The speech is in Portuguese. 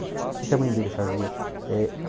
O que é que a mãe dele fazia?